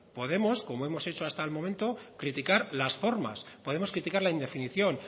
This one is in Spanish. podemos como hemos hecho hasta el momento criticar las formas podemos criticar la indefinición